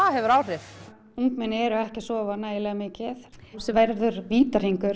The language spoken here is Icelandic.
hefur áhrif ungmenni eru ekki að sofa nægilega mikið sem verður vítahringur